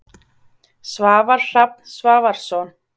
Svavar Hrafn Svavarsson.